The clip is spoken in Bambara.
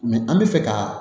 an bɛ fɛ ka